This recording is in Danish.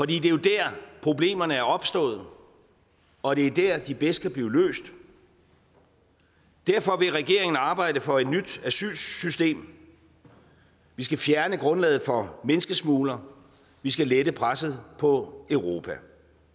det er jo der problemerne er opstået og det er der de bedst kan blive løst derfor vil regeringen arbejde for et nyt asylsystem vi skal fjerne grundlaget for menneskesmuglere vi skal lette presset på europa